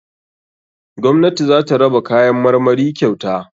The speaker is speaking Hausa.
Gwamnati zata raba kayan marmari kyauta.